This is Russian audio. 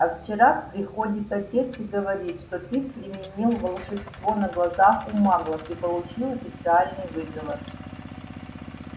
а вчера приходит отец и говорит что ты применил волшебство на глазах у маглов и получил официальный выговор